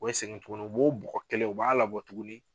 O be segin tuguni , u b'o bugɔ kelen u b'a labɔ tuguni